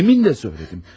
Demin də söylədim.